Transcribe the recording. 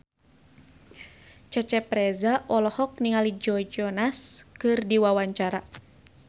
Cecep Reza olohok ningali Joe Jonas keur diwawancara